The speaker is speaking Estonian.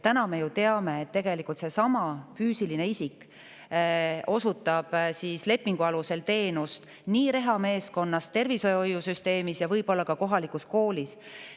Me ju teame, et tegelikult sama füüsiline isik osutab lepingu alusel teenust rehameeskonnas, tervishoiusüsteemis ja võib-olla ka kohalikus koolis.